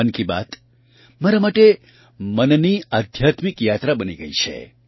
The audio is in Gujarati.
મન કી બાત મારા માટે મનની આધ્યાત્મિક યાત્રા બની ગઈ છે